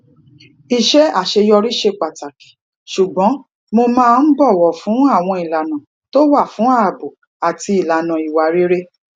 iṣẹ àṣeyọrí ṣe pàtàkì ṣùgbọn mo máa ń bòwò fún àwọn ìlànà tó wà fún ààbò àti ìlànà ìwà rere